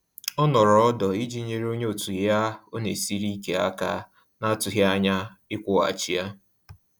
Ọ nọrọ ọdọ iji nyere onye òtù ya ọ na esiri ike aka na-atughi anya ikwughachi ya